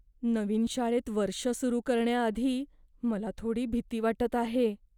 नवीन शाळेत वर्ष सुरु करण्याआधी मला थोडी भीती वाटत आहे.